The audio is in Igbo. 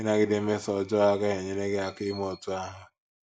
Ịnagide mmeso ọjọọ agaghị enyere gị aka ime otú ahụ.